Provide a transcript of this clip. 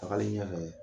Tagali ɲɛfɛ